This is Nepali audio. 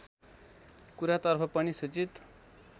कुरातर्फ पनि सूचित